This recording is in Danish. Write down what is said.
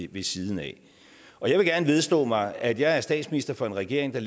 ved siden af jeg vil gerne vedstå mig at jeg er statsminister for en regering der